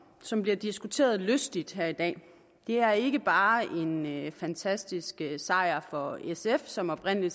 som bliver diskuteret lystigt her i dag er ikke bare en fantastisk sejr for sf som oprindelig